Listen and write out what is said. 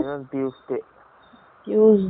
tuesday okay